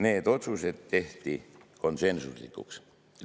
Need otsused tehti konsensuslikult.